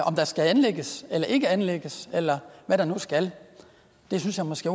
om der skal anlægges eller ikke skal anlægges eller hvad der nu skal det synes jeg måske